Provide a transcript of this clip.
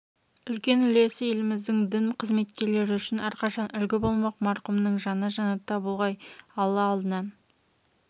үлкен үлесі еліміздің дін қызметкерлері үшін әрқашан үлгі болмақ марқұмның жаны жәннатта болғай алла алдынан